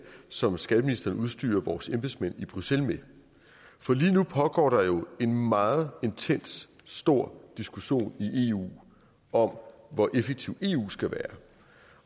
som skatteministeren udstyrer vores embedsmænd i bruxelles med for lige nu pågår der jo en meget intens stor diskussion i eu om hvor effektiv eu skal være